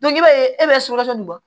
i b'a ye e bɛ sukaro nin bɔ